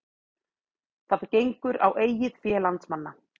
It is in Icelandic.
Það gengur á eigið fé landsmanna